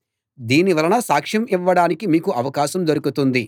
దీని వలన సాక్ష్యం ఇవ్వడానికి మీకు అవకాశం దొరుకుతుంది